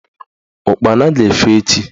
Ụkpana ga-efe echi